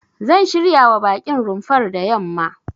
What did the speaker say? Zan shiryawa baƙin rumfar da yamma.